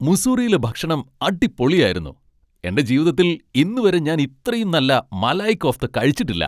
മുസ്സൂറിയിലെ ഭക്ഷണം അടിപൊളിയായിരുന്നു . എന്റെ ജീവിതത്തിൽ ഇന്നുവരെ ഞാൻ ഇത്രയും നല്ല മലായ് കോഫ്ത കഴിച്ചിട്ടില്ല.